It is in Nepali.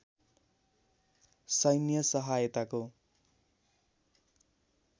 सैन्य साहयताको